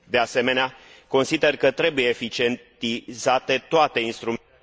De asemenea, consider că trebuie eficientizate toate instrumentele...